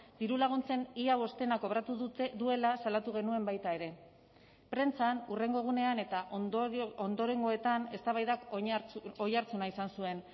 dirulaguntzen ia bostena kobratu duela salatu genuen baita ere prentsan hurrengo egunean eta ondorengoetan eztabaidak oihartzuna izan zuen